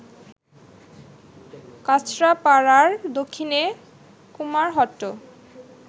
কাঁচরাপাড়ার দক্ষিণে কুমারহট্ট